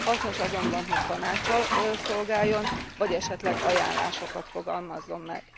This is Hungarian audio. Hasznos azonban, hogy tanáccsal szolgáljon, vagy esetleg ajánlásokat fogalmazzon meg.